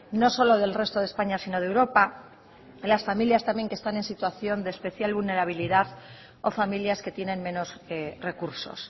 no solo del resto de españa sino de europa las familias también que están en situación de especial vulnerabilidad o familias que tienen menos recursos